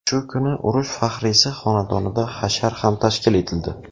Shu kuni urush faxriysi xonadonida hashar ham tashkil etildi.